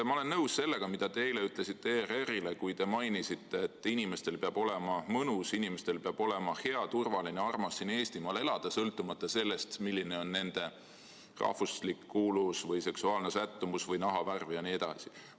Ma olen nõus sellega, mida te eile ütlesite ERR-ile, kui te mainisite, et inimestel peab olema mõnus, inimestel peab olema hea, turvaline ja armas siin Eestimaal elada, sõltumata sellest, milline on nende rahvuslik kuuluvus, seksuaalne sättumus või nahavärv jne.